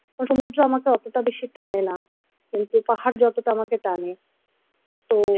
মোটামুটি আমাকে অতটা বেশি টানে না কিন্তু পাহাড় যতটা আমাকে টানে তো